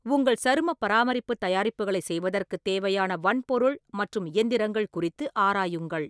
உங்கள் சருமப் பராமரிப்புத் தயாரிப்புகளைச் செய்வதற்குத் தேவையான வன்பொருள் மற்றும் இயந்திரங்கள் குறித்து ஆராயுங்கள்.